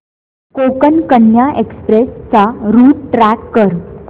Konkan Kanya express चा route track कर